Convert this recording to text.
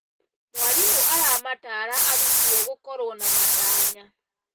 Mwarimũ aramataara arutwo gũkorwo na matanya.